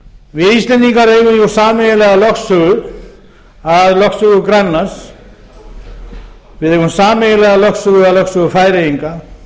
við íslendingar eigum jú sameiginlega lögsögu að lögsögu grænlands við eigum sameiginlega lögsögu að lögsögu færeyinga